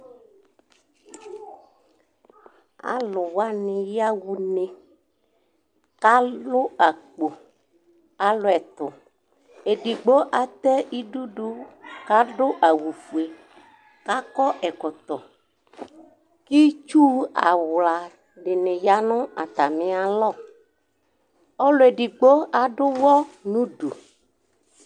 Alʋ wani yaxa une, kʋ alʋ akpo Alʋ ɛtʋ edigbo atɛ idʋdʋ kʋ adʋ awʋfue kʋ akɔ ɛkɔtɔ kʋ itsu awla dini ya nʋ atami alɔ Ɔlʋ edigbo adʋ ʋwɔ nʋ ʋdʋ